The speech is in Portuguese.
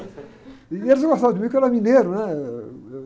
E eles não gostavam de mim porque eu era mineiro, né? Eh, uh, eu